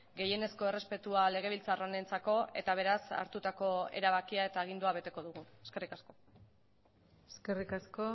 gehienezko errespetua legebiltzar honentzako eta beraz hartutako erabakia eta agindua beteko dugu eskerrik asko eskerrik asko